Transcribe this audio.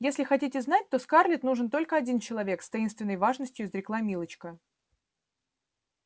если хотите знать то скарлетт нужен только один человек с таинственной важностью изрекла милочка